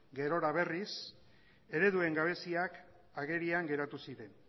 gerora berriz ereduen gabeziak agerian geratu ziren